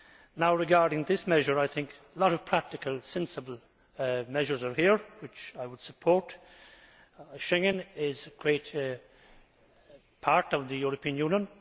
Now, regarding this measure, I think a lot of practical, sensible measures are here which I would support. Schengen is a great part of the European Union.